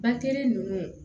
Bakɛli ninnu